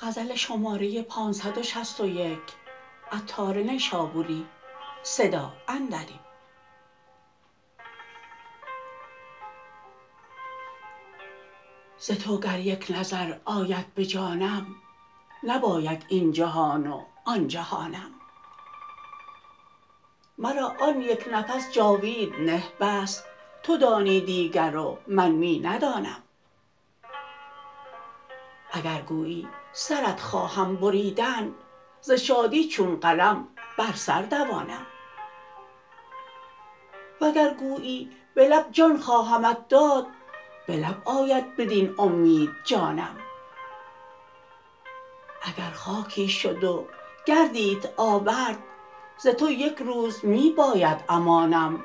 ز تو گر یک نظر آید به جانم نباید این جهان و آن جهانم مرا آن یک نفس جاوید نه بس تو دانی دیگر و من می ندانم اگر گویی سرت خواهم بریدن ز شادی چون قلم بر سر دوانم وگر گویی به لب جان خواهمت داد به لب آید بدین امید جانم اگر خاکی شد و گردیت آورد ز تو یک روز می باید امانم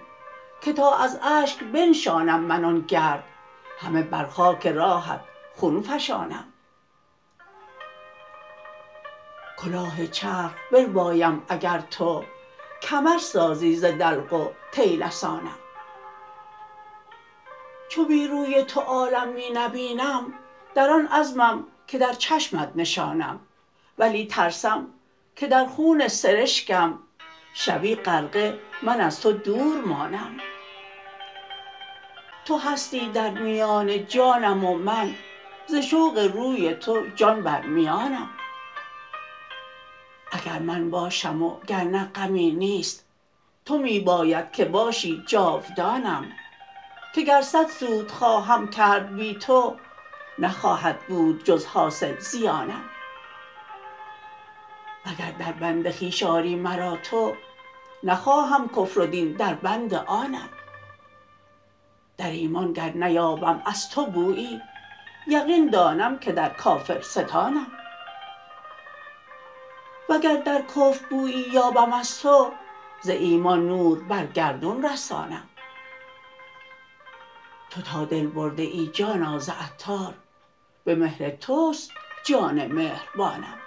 که تا از اشک بنشانم من آن گرد همه بر خاک راهت خون فشانم کلاه چرخ بربایم اگر تو کمر سازی ز دلق و طیلسانم چو بی روی تو عالم می نبینم در آن عزمم که در چشمت نشانم ولی ترسم که در خون سرشکم شوی غرقه من از تو دور مانم تو هستی در میان جانم و من ز شوق روی تو جان بر میانم اگر من باشم و گرنه غمی نیست تو می باید که باشی جاودانم که گر صد سود خواهم کرد بی تو نخواهد بود جز حاصل زیانم و گر در بند خویش آری مرا تو نخواهم کفر و دین در بند آنم در ایمان گر نیابم از تو بویی یقین دانم که در کافرستانم وگر در کفر بویی یابم از تو ز ایمان نور بر گردون رسانم تو تا دل برده ای جانا ز عطار به مهر توست جان مهربانم